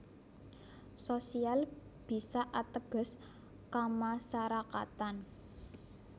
Sosial bisa ateges kamasarakatan